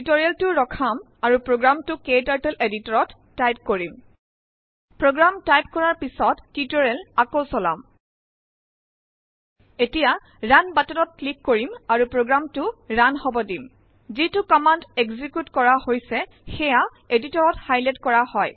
টিউটৰিয়েলটো ৰখাম আৰু প্ৰোগ্ৰামটো ক্টাৰ্টল এদিটৰত টাইপ কিৰম । প্ৰোগ্ৰামটাইপ কৰাৰ পিছত টিউটৰিয়েল আকৌ চলাম । এতিয়া ৰুণ বটনত ক্লিক কৰিম আৰু প্ৰোগ্ৰামটো ৰান হব দিম । যিটো কম্মান্দ একজিকিউট কৰা হৈছে সেয়া এদিটৰত হাইলাইট কৰা হয়